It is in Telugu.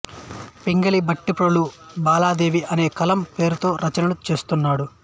పింగళి భట్టిప్రోలు బాలాదేవి అనే కలం పేరుతో రచనలు చేస్తున్నాడు